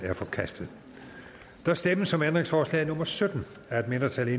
er forkastet der stemmes om ændringsforslag nummer sytten af et mindretal